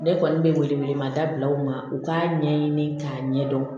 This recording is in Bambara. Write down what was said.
Ne kɔni bɛ wele wele mada bila u ma u k'a ɲɛɲini k'a ɲɛdɔn